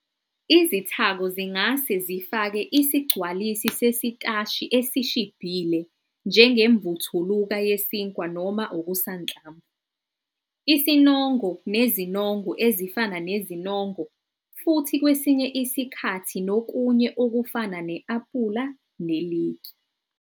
Izithako zingase zifake isigcwalisi sesitashi esishibhile njengemvuthuluka yesinkwa noma okusanhlamvu, isinongo nezinongo ezifana nezinongo, futhi kwesinye isikhathi nokunye okufana ne-apula neliki.